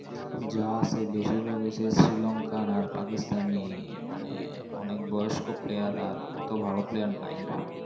যা আছে, বেশিরভাগ ওই যে শ্রীলঙ্কান আর পাকিস্তানি মানে অনেক বয়স্ক player আর অত ভালো player নাই।